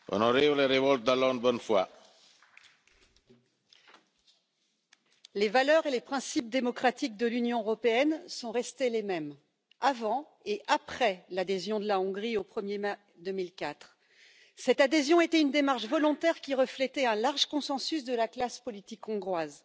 Monsieur le Président, Monsieur le Premier ministre, les valeurs et les principes démocratiques de l'Union européenne sont restés les mêmes, avant et après l'adhésion de la Hongrie au 1er mai 2004. Cette adhésion était une démarche volontaire, qui reflétait un large consensus de la classe politique hongroise,